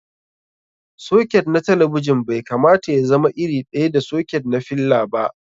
Soket na talabijin bai kamata y azama iri ɗaya da soket na filla ba.